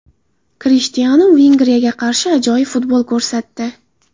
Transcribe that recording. Krishtianu Vengriyaga qarshi ajoyib futbol ko‘rsatdi.